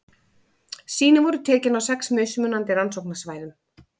Sýni voru tekin á sex mismunandi rannsóknarsvæðum.